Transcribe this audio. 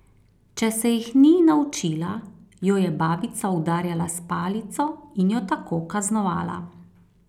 Če se jih ni naučila, jo je babica udarjala s palico in jo tako kaznovala.